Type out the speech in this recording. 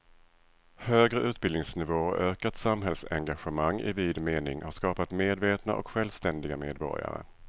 Högre utbildningsnivå och ökat samhällsengagemang i vid mening har skapat medvetna och självständiga medborgare.